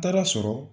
Taara sɔrɔ